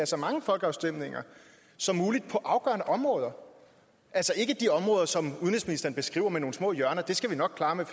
så mange folkeafstemninger som muligt på afgørende områder altså ikke de områder som udenrigsministeren beskriver med nogle små hjørner det skal vi nok klare med